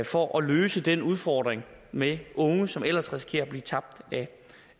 for at løse den udfordring med unge som ellers risikerer at blive tabt